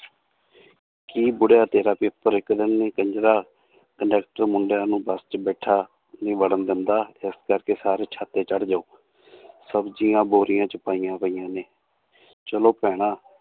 ਕੀ ਬੁੜਿਆ ਤੇਰਾ ਪੇਪਰ ਇੱਕ ਦਿਨ ਨੀ ਕੰਜਰਾ ਕੰਡਕਟਰ ਮੁੰਡਿਆ ਨੂੰ ਬਸ 'ਚ ਬਿਠਾ, ਨੀ ਵੜਨ ਦਿੰਦਾ ਇਸ ਕਰਕੇ ਸਾਰੇ ਛੱਤ ਤੇ ਚੜ੍ਹ ਜਾਓ ਸਬਜ਼ੀਆਂ ਬੋਰੀਆਂ 'ਚ ਪਾਈਆਂ ਪਈਆਂ ਨੇ ਚਲੋ ਭੈਣਾ